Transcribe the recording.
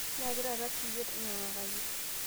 nyaaki taata siiyie nyiangakaki